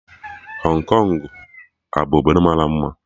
Hong Kong abu obodo mara mma?